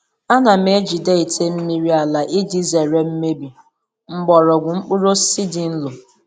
Ana m ejide ite mmiri ala iji zere imebi mgbọrọgwụ mkpụrụ osisi dị nro.